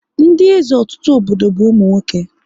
Ndị eze ọtụtụ obodo bụ ụmụ nwoke